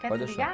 Quer desligar?